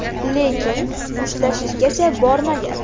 Lekin mushtlashishgacha bormagan.